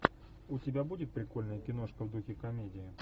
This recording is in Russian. у тебя будет прикольная киношка в духе комедии